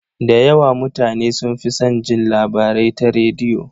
Da yawa mutane sun fi san jin labarai ta rediyo.